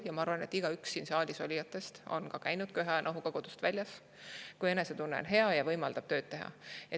Ja ma arvan, et igaüks siin saalis olijatest on käinud köha ja nohuga kodust väljas, kui enesetunne on hea ja võimaldab tööd teha.